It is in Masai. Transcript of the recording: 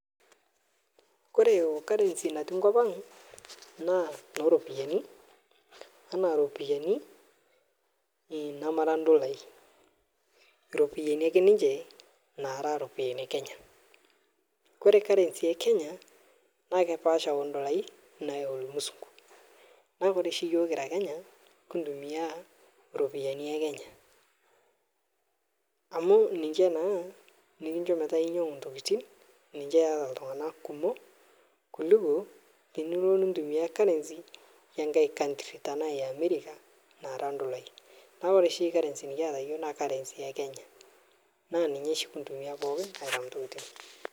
Kore okarensi natii nkopang naa neropiyani tana ropiyani namara ndolai ropiyani ake ninche nara ropiyani ekenya, kore okarensi ekenya naa kepaasha ondolai nayeu lmusungu naaku Kore shii yuo kira Kenya nkitumia ropiyani ekenya amu ninche naa nikinchoo petaa inyang'u ntokitin niche eata ltungana kumok kuliko nilo nintumia karensi emkae kantri tana eamerika nara ndolai naaku kore shi karensi nikiyata yuo naa karensi ekenya naa ninye shii kintumia pookin aitam ntokitin.